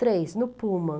Três, no Pullman.